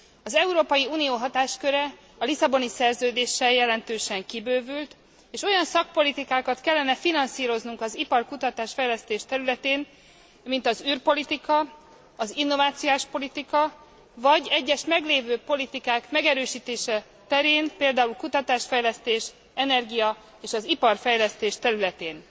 Az Európai Unió hatásköre a Lisszaboni Szerződéssel jelentősen kibővült, és olyan szakpolitikákat kellene finanszíroznunk az ipar, a kutatás fejlesztés területén, mint az űrpolitika, az innovációs politika vagy egyes meglévő politikák megerősítése terén, például kutatás fejlesztés, az energia és az iparfejlesztés területén.